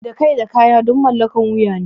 Da kai da kaya duk mallakar wuya ne.